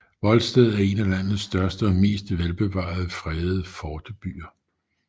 Volsted er en af landets største og mest velbevarede fredede fortebyer